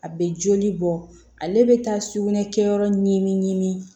A bɛ joli bɔ ale bɛ taa sugunɛ kɛ yɔrɔ ɲimi ɲi ɲimi